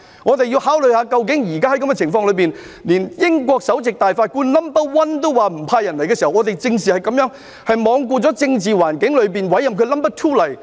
我們要考慮現時的情況，就是連英國首席大法官也表示不派人來港，我們正是這樣，是罔顧政治環境中委任了 NO. 2來港。